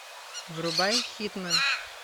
врубай хитмэн